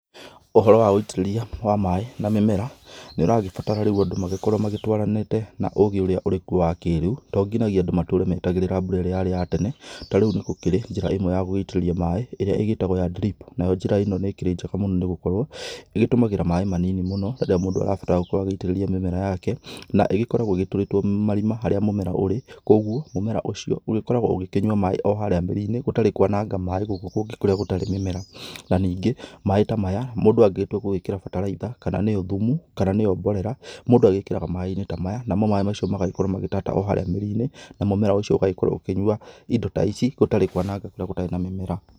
Ũhoro wa ũitĩrĩria wa maĩ na mĩmera, nĩũragĩbatara rĩu Andũ magĩkorwo magĩtwaranite na ũgĩ ũrĩa ũrĩ kuo wa kĩrĩu. To nginyagia Andũ matũre metagĩrĩra mbura ĩrĩa yarĩ ya tene. Ta rĩu nĩgũkĩrĩ njĩra ĩmwe yagũgĩitĩrĩria maĩ ĩrĩa ĩgĩtagwo ya drip. Nayo njĩra ĩno nĩkĩrĩ njega mũno nĩgũkorwo, ĩgĩtũmagĩra maĩ manini mũno, rĩrĩa mũndũ arabatara gũkorwo agĩitĩrĩria mĩmera yake. Na ĩgĩkoragwo ĩgĩtũrĩtwo marima harĩa mũmera ũrĩ, koguo mũmera ũcio ũgĩkoragwo ũgĩkĩnyua maĩ o harĩa mĩrinĩ gũtarĩ kwananga maĩ gũkũ kũngĩ kũrĩa gũtarĩ mĩmera. Na ningĩ maĩ ta maya, mũndũ angĩgĩtua gugĩkĩra bataraitha, kana nĩyo thumu, kana nĩo mborera. Mũndũ agĩkĩraga maĩ-inĩ ta maya. Namo maĩ macio magagĩkorwo magĩtata o harĩa mĩrinĩ na mũmera ũcio ũgagĩkorwo ũkĩnyua indo ta ici, gũtarĩ kwananga kũrĩa gũtarĩ na mĩmera.